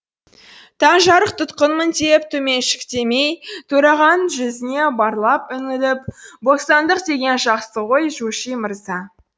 таңжарық тұтқынмын деп төменшіктемей төрағаның жүзіне барлай үңіліп бостандық деген жақсы ғой жуши мырза